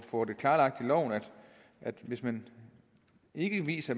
klarlagt i loven at hvis man ikke viser